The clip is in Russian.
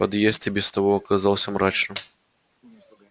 подъезд и без того оказался мрачным